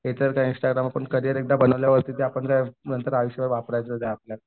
त्याच्यावर काय इंस्टाग्रामवर करियर एकदा बनवल्यावरती नंतर ते आपल्याला आयुष्यभर वापरायचं आहे